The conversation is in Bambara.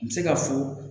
N bɛ se ka fɔ